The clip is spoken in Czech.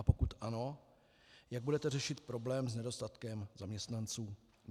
A pokud ano, jak budete řešit problém s nedostatkem zaměstnanců.